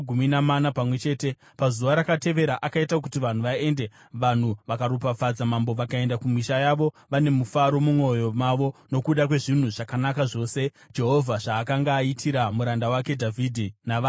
Pazuva rakatevera akaita kuti vanhu vaende. Vanhu vakaropafadza mambo vakaenda kumisha yavo vane rufaro mumwoyo mavo nokuda kwezvinhu zvakanaka zvose Jehovha zvaakanga aitira muranda wake Dhavhidhi navanhu vake Israeri.